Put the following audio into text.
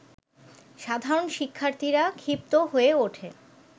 সাধারণ শিক্ষার্থীরা ক্ষিপ্ত হয়ে ওঠে